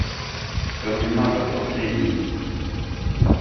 терминатор последний